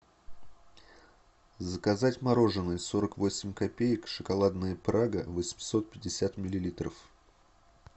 заказать мороженое сорок восемь копеек шоколадная прага восемьсот пятьдесят миллилитров